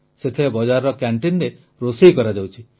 ସେଥିରେ ବଜାରର କ୍ୟାଣ୍ଟିନରେ ରୋଷେଇ କରାଯାଉଛି